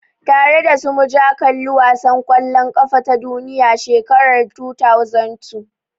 Tare dasu muja kalli wasan kwallon kafa ta duniya shekarar 2002